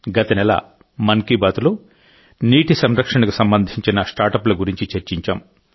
గత నెల మన్ కీ బాత్లో నీటి సంరక్షణకు సంబంధించిన స్టార్టప్ల గురించి చర్చించాం